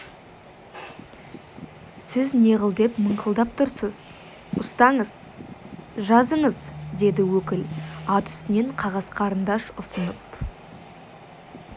сіз неғыл деп мыңқылдап тұрсыз ұстаңыз жазыңыз деді өкіл ат үстінен қағаз қарындаш ұсынып